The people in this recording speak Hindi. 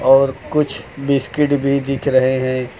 और कुछ बिस्किट भी दिख रहे हैं।